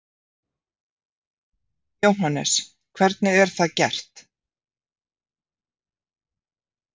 Jóhannes: Hvernig er það gert?